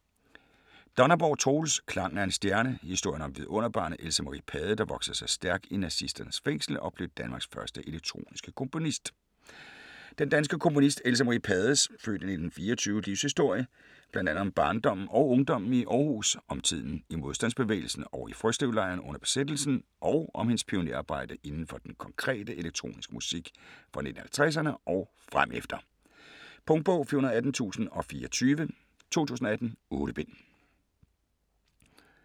Donnerborg, Troels: Klangen af en stjerne: historien om vidunderbarnet, Else Marie Pade, der voksede sig stærk i nazisternes fængsel og blev Danmarks første elektroniske komponist Den danske komponist Else Marie Pades (f. 1924) livshistorie, bl.a. om barndommen og ungdommen i Århus, om tiden i modstandsbevægelsen og i Frøslevlejren under besættelsen, og om hendes pionerarbejde inden for den konkrete, elektroniske musik fra 1950'erne og fremefter. Punktbog 418024 2018. 8 bind.